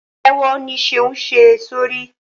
Pátèwọ ní Seun ṣe sórí.